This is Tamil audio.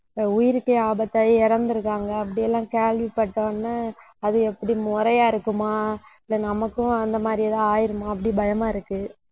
உயிருக்கே ஆபத்தாகி இறந்திருக்காங்க. அப்படியெல்லாம் கேள்விப்பட்ட உடனே, அது எப்படி முறையா இருக்குமா இல்ல நமக்கும் அந்த மாதிரி ஏதாவது ஆயிடுமோ அப்படி பயமா இருக்கு.